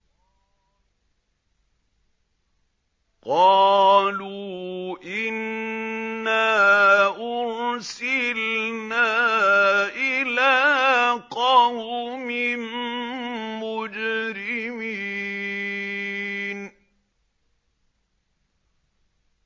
قَالُوا إِنَّا أُرْسِلْنَا إِلَىٰ قَوْمٍ مُّجْرِمِينَ